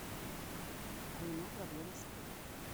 у меня проблемы с оплатой